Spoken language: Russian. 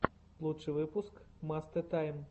лучший выпуск мастэ тайм